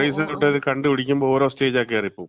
Trace out ചെയ്ത് കണ്ട് പിടിക്കുമ്പോ ഓരോ സ്റ്റേജാ കേറി പോകും.